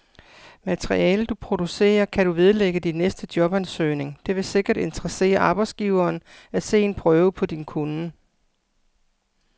Materialet, du producerer, kan du vedlægge din næste jobansøgning, det vil sikkert interessere arbejdsgiveren at se en prøve på din kunnen.